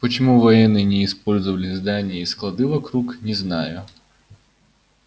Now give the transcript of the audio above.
почему военные не использовали здания и склады вокруг не знаю